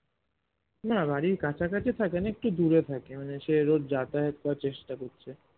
না বাড়ির কাছাকাছি থাকেনা একটু দূরে থাকে মানে সে রোজ যাতায়াত করার চেষ্টা করছে